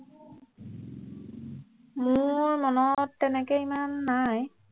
মোৰ মনত তেনেকে ইমান নাই